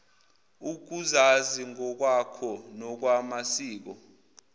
ukuzazi ngokwakho nokwamasiko